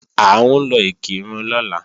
À ń lọ Ìkìrun lọ́la